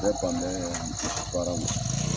Ne fa baara ma.